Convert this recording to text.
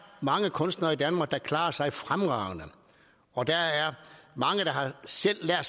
mange kunstnere i danmark der klarer sig fremragende og der er mange der selv har